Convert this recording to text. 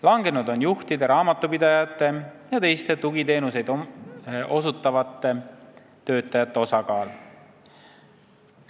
Langenud on juhtide, raamatupidajate jt tugiteenuseid osutavate töötajate osakaal.